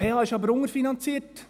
Die PH ist aber unterfinanziert.